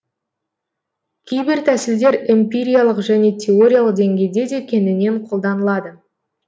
кейбір тәсілдер эмпириялық және теориялық деңгейде де кеңінен қолданылады